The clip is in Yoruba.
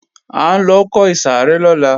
A ńlọ kọ ìsàrẹ́ lọ́la